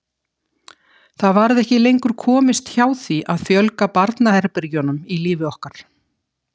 Það varð ekki lengur komist hjá því að fjölga barnaherbergjunum í lífi okkar.